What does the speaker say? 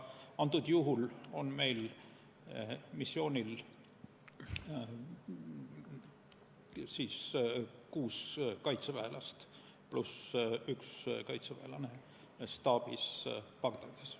Praegusel juhul on meil missioonil kuus kaitseväelast pluss üks kaitseväelane staabis Bagdadis.